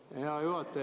Aitäh, hea juhataja!